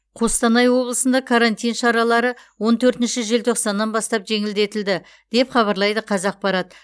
қостанай облысында карантин шаралары он төртінші желтоқсаннан бастап жеңілдетілді деп хабарлайды қазақпарат